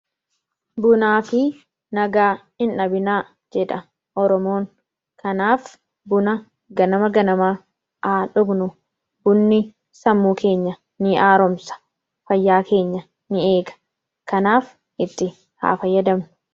Bunaa fi nagaa hindhabinaa jedha oromoon. kanaaf buna ganama ganamaa haadhugnu bunni sammuu keenya ni aaroomsa, fayyaa keenya ni eega, kanaaf itti haa fayyadamnu.